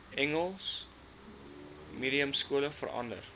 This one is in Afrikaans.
engels mediumskole verander